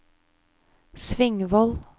Svingvoll